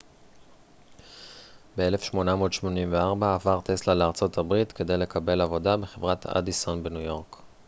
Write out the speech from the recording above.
ב-1884 עבר טסלה לארה ב כדי לקבל עבודה בחברת אדיסון בניו-יורק